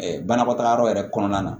banakɔtagayɔrɔ yɛrɛ kɔnɔna na